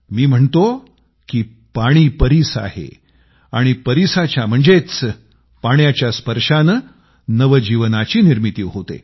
मी म्हणतो की पाणी परीस आहे आणि परीसाच्या म्हणजेच पाण्याच्या स्पर्शानं नवजीवनाची निर्मिती होते